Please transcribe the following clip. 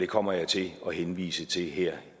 kommer jeg til at henvise til her